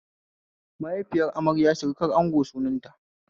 Mahaifiyar amarya surukar ango sunan ta